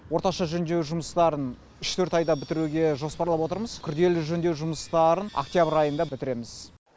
орташа жөндеу жұмыстарын үш төрт айда бітіруге жоспарлап отырмыз күрделі жөндеу жұмыстарын октябрь айында бітіреміз